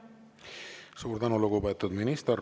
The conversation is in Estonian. Suur tänu, lugupeetud minister!